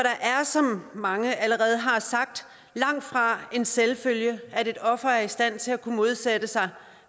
er som mange allerede har sagt langtfra en selvfølge at et offer er i stand til at kunne modsætte sig